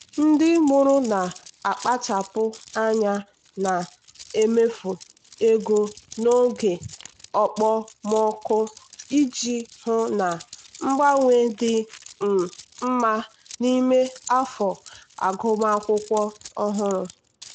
ndị mụrụ na-akpachapụ anya na-emefu ego n'oge okpomọkụ iji hụ na mgbanwe dị um mma n'ime afọ agụmakwụkwọ ọhụrụ.